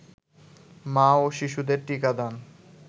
মা ও শিশুদের টিকাদান